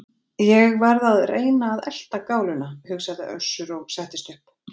Ég verð að reyna að elta gáluna, hugsaði Össur og settist upp.